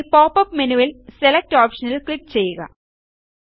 ഇനി പോപ്പപ്പ് മെനുവിൽ സെലക്ട് ഓപ്ഷനിൽ ക്ലിക്ക് ചെയ്യുക